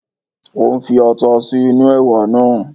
Ó ń fi ata sí inú ẹ̀wà náà